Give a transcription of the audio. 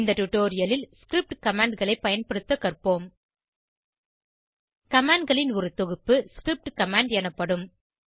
இந்த டுடோரியலில் ஸ்கிரிப்ட் commandகளை பயன்படுத்த கற்போம் commandகளின் ஒரு தொகுப்புScript கமாண்ட் எனப்படும்